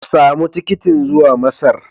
Samu tikitin zuwa Masar.